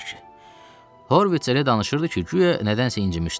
Horvits elə danışırdı ki, guya nədənsə incimişdi.